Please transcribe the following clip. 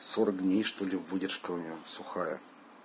сорок дней что ли выдержка у неё сухая